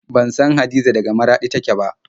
Ban san Hadiza daga Maraɗi take ba.